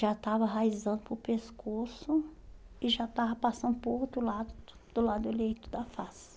Já estava enraizando para o pescoço e já estava passando por outro lado, do lado eleito da face.